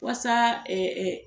Wasa